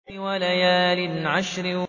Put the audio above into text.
وَلَيَالٍ عَشْرٍ